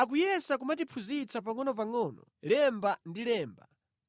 Akuyesa kumatiphunzitsa pangʼonopangʼono lemba ndi lemba,